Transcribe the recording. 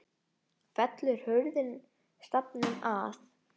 Fellur hurðin stafnum að.